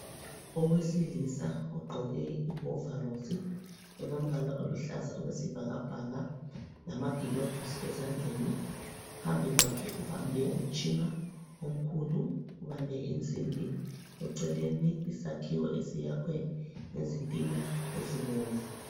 Owesilisa ogqoke ihovarosi elombala oluhlaza okwesibhakabhaka lamagilovisi ezandleni, phambi kwakhe ubambe umtshina omkhulu, ubambe insimbi eceleni isakhiwo esiyakhwe ngezitina ezibomvu.